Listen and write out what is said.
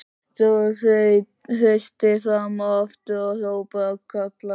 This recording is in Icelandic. Hún þeysti fram og aftur og hrópaði og kallaði.